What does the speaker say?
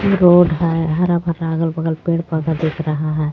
Road है हरा भरा अगल बगल पेड़ पौधा दिख रहा है.